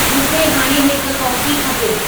मूंखे हाणे हिक कॉफ़ी खपे